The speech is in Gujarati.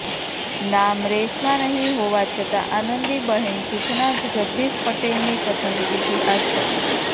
નામ રેસમાં નહીં હોવા છતાં આનંદીબહેન જૂથના જ જગદીશ પટેલની પસંદગીથી આશ્ચર્ય